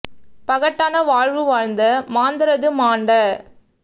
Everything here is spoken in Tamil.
பகட்டான வாழ்வுவாழ்ந்த மாந்தரது மாண்ட